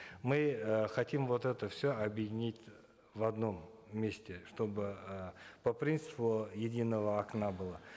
мы э хотим вот это все объединить в одном месте чтобы э по принципу единого окна было